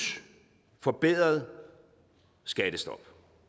forbedret skattestop